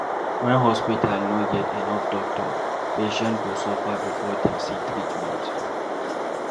When hospital no get enough doctor, patient go suffer before dem see treatment.